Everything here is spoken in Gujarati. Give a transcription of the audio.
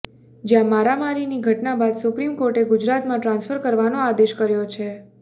જ્યાં મારામારીની ઘટના બાદ સુપ્રીમ કોર્ટે ગુજરાતમાં ટ્રાન્સ્ફર કરવાનો આદેશ કર્યો છે